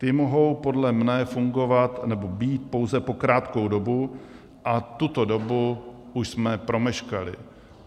Ty mohou podle mě fungovat nebo být pouze po krátkou dobu a tuto dobu už jsme promeškali.